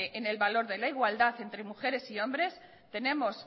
en el valor de la igualdad entre mujeres y hombres tenemos